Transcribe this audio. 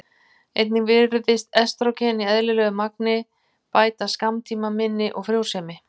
Einnig virðist estrógen í eðlilegu magni bæta skammtímaminni og frjósemi.